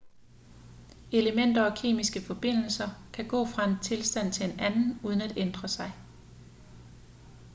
elementer og kemiske forbindelser kan gå fra en tilstand til en anden uden at ændre sig